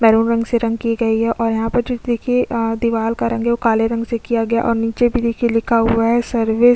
मेहरुम रंग से रंग की गयी है और यहाँ पे जो देखिये अ दीवाल का रंग हैं वो काले रंग से किया गया है और नीचे भी देखिये लिखा हुआ है सर्वे --